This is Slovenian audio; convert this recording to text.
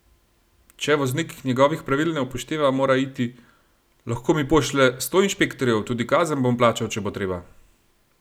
Če voznik njegovih pravil ne upošteva, mora iti: "Lahko mi pošlje sto inšpektorjev, tudi kazen bom plačal, če bo treba.